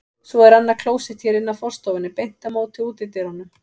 Svo er annað klósett hér inn af forstofunni, beint á móti útidyrunum.